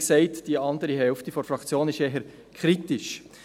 Wie gesagt, die andere Hälfte der Fraktion ist eher kritisch.